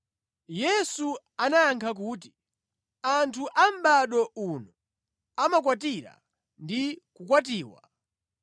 Yesu anayankha kuti, “Anthu a mʼbado uno amakwatira ndi kukwatiwa.